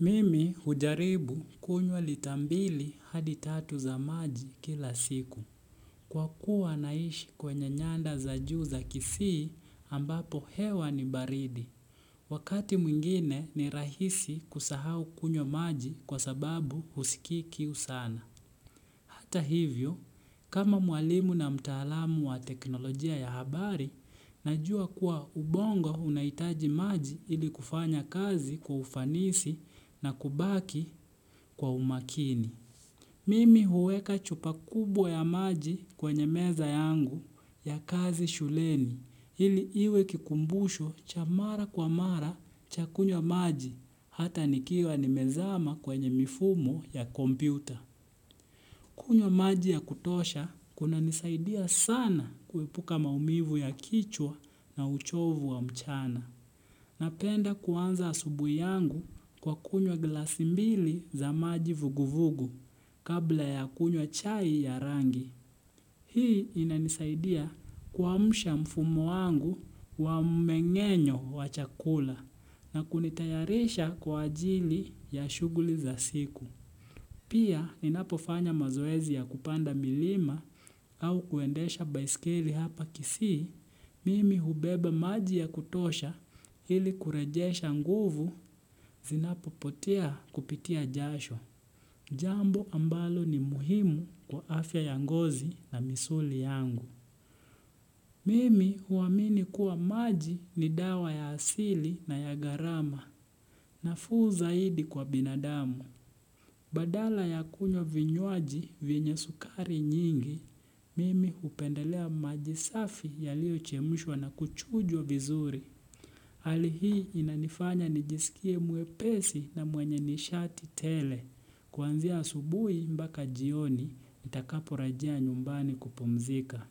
Mimi hujaribu kunywa lita mbili hadi tatu za maji kila siku. Kwa kuwa naishi kwenye nyanda za juu za kisii ambapo hewa ni baridi. Wakati mwingine ni rahisi kusahau kunywa maji kwa sababu husiki kiu sana. Hata hivyo, kama mwalimu na mtaalamu wa teknolojia ya habari, Najua kuwa ubongo unahitaji maji ili kufanya kazi kwa ufanisi na kubaki kwa umakini. Mimi huweka chupa kubwa ya maji kwenye meza yangu ya kazi shuleni ili iwe kikumbushu cha mara kwa mara cha kunywa maji hata nikiwa nimezama kwenye mifumo ya kompyuta. Kunywa maji ya kutosha kuna nisaidia sana kuepuka maumivu ya kichwa na uchovu wa mchana. Napenda kuanza asubuhi yangu kwa kunywa glasi mbili za maji vuguvugu kabla ya kunywa chai ya rangi. Hii inanisaidia kuamsha mfumo wangu wa mmengenyo wa chakula na kunitayarisha kwa ajili ya shughuli za siku. Pia ninapofanya mazoezi ya kupanda milima au kuendesha baiskeli hapa kisii, mimi hubeba maji ya kutosha ili kurejesha nguvu zinapopotea kupitia jasho. Jambo ambalo ni muhimu kwa afya ya ngozi na misuli yangu. Mimi huamini kuwa maji ni dawa ya asili na ya gharama nafuu zaidi kwa binadamu. Badala ya kunywa vinywaji venye sukari nyingi, mimi hupendelea maji safi yaliyochemshwa na kuchujwa vizuri. Hali hii inanifanya nijiskie mwepesi na mwenye nishati tele. Kwanzia asubuhi mpaka jioni, nitakaporejea nyumbani kupumzika.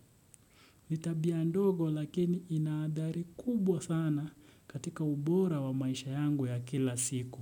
Ni tabia ndogo lakini inaadari kubwa sana katika ubora wa maisha yangu ya kila siku.